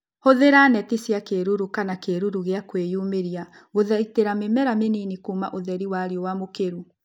Hũthĩra neti cia kĩruru kana kĩruru gĩa kwĩyumĩria gũthaitĩra mĩmera mĩnini kuma ũtheri wa riũa mũkĩru